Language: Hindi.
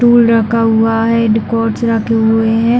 टूल रखा हुआ है। डिकॉर्ड्स रखे हुए है।